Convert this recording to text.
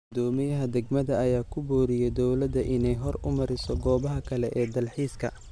Guddoomiyaha degmada ayaa ku booriyay dowladda inay horumariso goobaha kale ee dalxiiska.